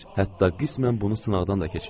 Hətta qismən bunu sınaqdan da keçirir.